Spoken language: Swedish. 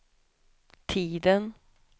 tiden